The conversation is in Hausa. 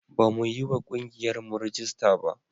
Bamu yi wa ƙungiyarmu rajista ba.